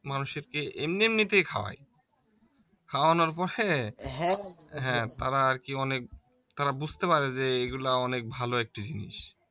মানুষকে এমনি এমনিতেই খাওয়ায়, খাওয়ানোর পরে তারা আর কি অনেক তারা বুঝতে পারে যে এগুলা অনেক ভালো একটি জিনিস